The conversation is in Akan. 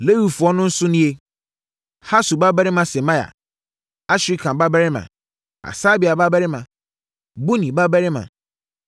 Lewifoɔ no nso nie: Hasub babarima Semaia, Asrikam babarima, Hasabia babarima, Buni babarima;